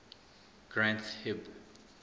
granth hib